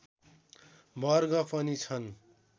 वर्ग पनि छन्